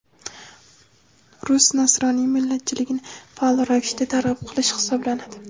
rus nasroniy millatchiligini faol ravishda targ‘ib qilish hisoblanadi.